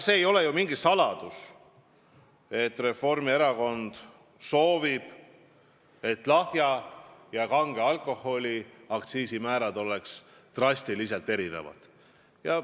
See ei ole mingi saladus, et Reformierakond soovib, et lahja ja kange alkoholi aktsiisimäärad oleks drastiliselt erinevad.